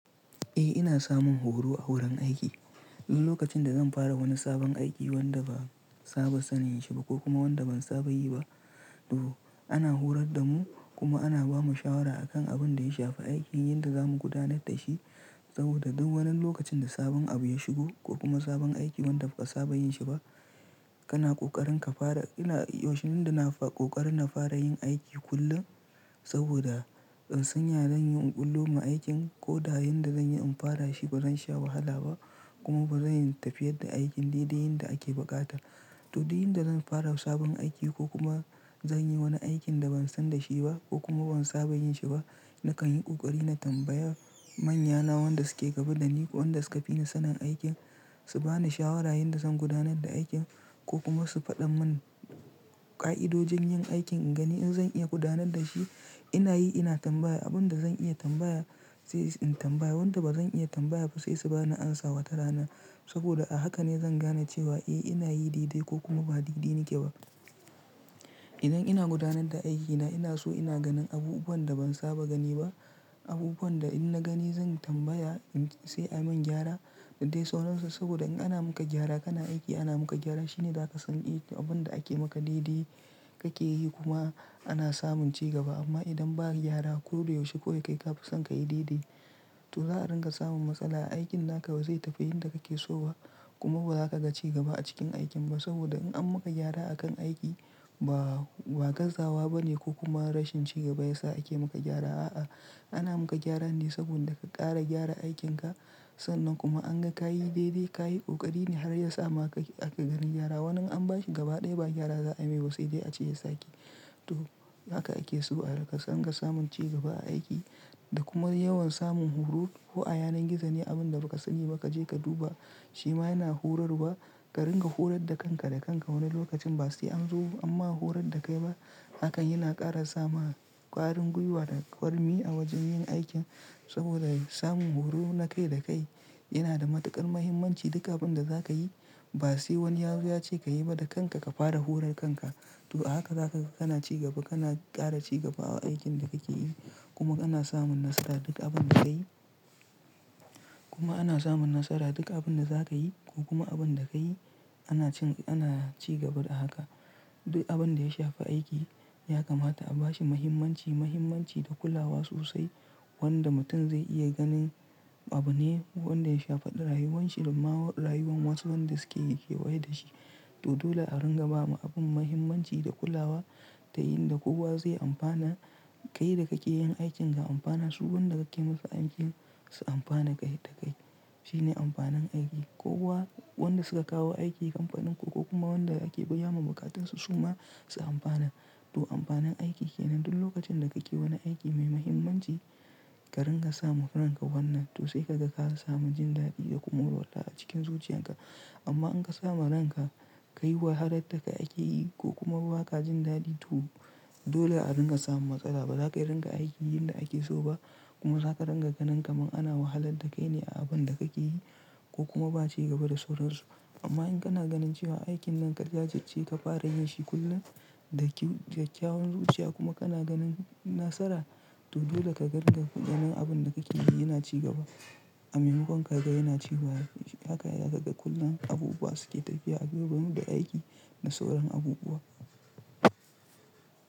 Eh ina samun horo a wurin aiki. In lokacin da zan fara wani sabon aiki wanda ba saba sanin shi ba ko kuma wanda ban saba yi ba to ana horad da mu kuma ana bamu shawara akan abun da ya shafi aikin yadda zamu gudanar da shi. Saboda duk wani lokacin da sabon abu ya shigo ko kuma sabon aiki wanda ba ka saba yin shi ba kana ƙoƙarin ka fara. Ina yaushe nanda na ƙoƙarin na fara yin aiki kullun saboda in san ya zan yi in ƙulluma aikin ko da yan da zanyi in fara shi ba zan sha wahala ba kuma ba zan tafiyar da aikin daidai yanda ake buƙata. To din yinda zan fara sabon aiki ko kuma zan yi wani aikin da ban san da shi ba ko kuma ban saba yin shi ba nakan yi ƙoƙari na tambaya manyana wanda suke gaba dani ko wanda suka fi ni sanin aikin su bani shawara yadda zan gudanar da aikin ko kuma su faɗan mun ƙa'idojin yin aikin in gani in zan iya gudanar da shi ina yi ina tambaya. Abin da zan iya tambaya sai in tambaya wanda ba zan iya tambaya ba sai su bani amsa wata rana saboda a haka ne zan gane cewa e ina yi dede ko kuma ba dede nike ba. Idan ina gudanar da aikina ina so ina ganin abubuwan da ban saba gani ba abubuwan da in na gani zan tambaya in sai a min gyara da dai sauransu. Saboda in ana muka gyara kana aiki ana maka gyara shine za ka san i to abin da ake maka dede kake yi kuma ana samun cigaba amma idan ba gyara ko da yaushe kawai kai ka fi son ka yi daidai to za a ringa samun matsala. Aikin naka ba zai tafi yadda kake so ba kuma ba za ka ga cigaba a cikin aikin ba saboda in an muka gyara akan aiki ba gazawa ba ne ko kuma rashin cigaba ya sa ake muka gyara a'a ana muka gyara ne saboda ka ƙara gyara aikinka. Sannan kuma an ga ka yi daidai ka yi ƙoƙari ne har ya sa ma kake aka gani gyara. Wani in an bashi gaba ɗaya ba gyara za ayi mai ba sai dai a ce ya sake. To haka ake so a rinƙa ringa samun cigaba a aiki da kuma yawan samun horo. Kona yanan gizo ne abun da baka sani ba kaje ka duba shima yana horarwa. Ka ringa horar da kanka da kanka wani lokacin ba sai an zo amma horar da kai ba hakan yana ƙara sama kwarin gwiwa da kwarmi a wajen yin aikin saboda samun horo na kai da kai yana da matuƙar muhimmanci. Duk abin da za ka yi ba sai wani yazo ya ce ka yi ba da kanka ka fara horar kanka. To a haka za kaga kana cigaba kana ƙara cigaba a aikin da kake yi kuma kana samun nasara duk abin da kayi kuma ana samun nasara duk abun da za kayi ko kuma abun da kayi ana cigaba da haka. Duk abin da ya shafi aiki ya kamata a bashi muhimmanci muhimmanci da kulawa sosai wanda mutum zai iya ganin abu ne wanda ya shafaɗa rayuwanshi da ma rayuwan wasu wanda suke kewaye da shi. To dole a ringa bawa abun muhimmanci da kulawa ta yinda kowa zai amfana kai da kake yin aikin ga amfana su wanda kake musu aikin su amfana kai da kai shine amfanin aiki. Kowa wanda suka kawo aiki kamfanin ku ko kuma wanda ake biya wa buƙatun su su ma su amfana. To amfanin aiki kenan dul lokacin da kake wani aiki mai muhimmanci ka ringa sa ma ranka wannan to sai ka ga ka samu jin daɗi da kuma warrola a cikin zuciyarka. Amma in ka sama ranka kai wahalar da kai ake yi ko kuma ba ka jin daɗi to dole a ringa samun matsala ba za ka ringa aiki yanda ake so ba kuma za ka ringa ganin kaman ana wahalar da kai ne a abin da kake yi ko kuma ba cigaba da sauransu. Amma in kana ganin cewa aikin nan ka jajirce ka fara yin shi kullum da kyakkyawan zuciya kuma kana ganin nasara to dole ka ga ringa ganin abin da kake yi yana cigaba. A mai makon kaga yana ci baya haka ya ka ga kullum abubuwa suke tafiya a gaba ne da aiki da sauran abubuwa.